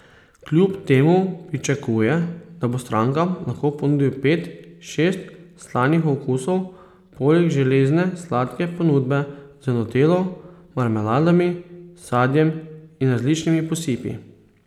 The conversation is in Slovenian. Kljub temu pričakuje, da bo strankam lahko ponudil pet, šest slanih okusov poleg železne sladke ponudbe z nutello, marmeladami, sadjem in različnimi posipi.